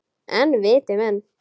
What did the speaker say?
En viti menn!